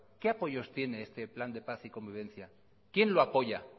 qué apoyos tiene este plan de paz y convivencia quién lo apoya